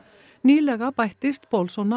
nýlega bættist